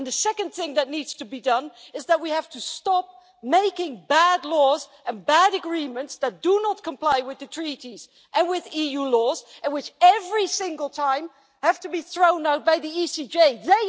The second thing that needs to be done is that we have to stop making bad laws and bad agreements that do not comply with the Treaties and with EU law, and which, every single time, have to be thrown out by the Court of Justice.